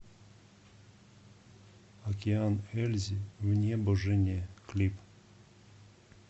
океан ельзи в небо жене клип